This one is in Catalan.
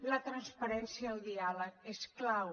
la transparència i el diàleg són clau